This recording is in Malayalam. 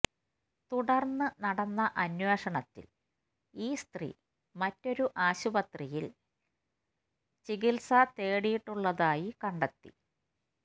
തുടര്ന്ന് നടന്ന അന്വേഷണത്തില് ഈ സ്ത്രീ മറ്റൊരു ആസ്പത്രിയില് ചികിത്സ തേടിയിട്ടുള്ളതായി കണ്ടെത്തി